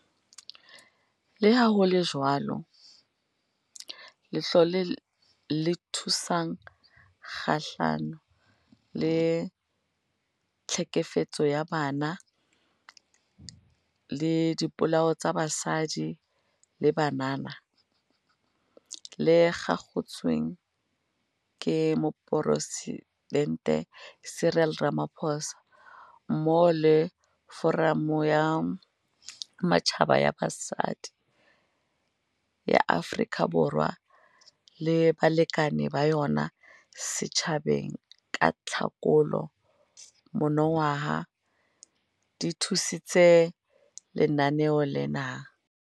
Le ha ho le jwalo, Letlole le Thusang Kgahlano le Tlhekefetso ya Bong le Dipolao tsa Basadi le Banana, GBVF, le kgakotsweng ke Moporesidente Cyril Ramaphosa, mmoho le Foramo ya Matjhaba ya Basadi ya Afrika Borwa le balekane ba yona setjhabeng ka Tlhakola monongwaha, di thusitse Lenaneo lena.